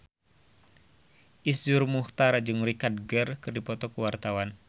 Iszur Muchtar jeung Richard Gere keur dipoto ku wartawan